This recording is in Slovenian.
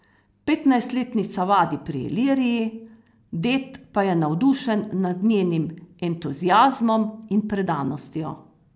Petnajstletnica vadi pri Iliriji, ded pa je navdušen nad njenim entuziazmom in predanostjo.